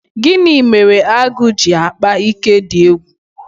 Gini mere agụ ji akpa ike dị egwu?